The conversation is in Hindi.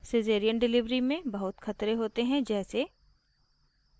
सीज़ेरियन delivery में बहुत खतरे होते हैं जैसे